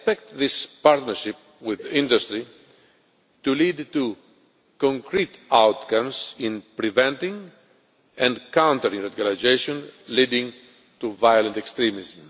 I expect this partnership with the industry to lead to concrete outcomes in preventing and countering radicalisation leading to violent extremism.